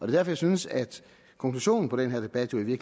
jeg synes at konklusionen på den her debat jo i